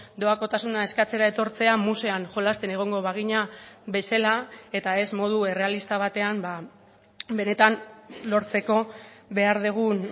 doakotasuna eskatzera etortzea musean jolasten egongo bagina bezala eta ez modu errealista batean benetan lortzeko behar dugun